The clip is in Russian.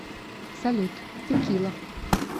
салют текила